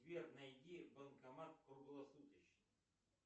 сбер найди банкомат круглосуточный